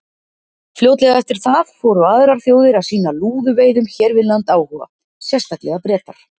Fljótlega eftir það fóru aðrar þjóðir að sýna lúðuveiðum hér við land áhuga, sérstaklega Bretar.